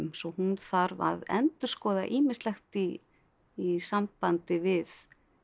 svo hún þarf að endurskoða ýmislegt í í sambandi við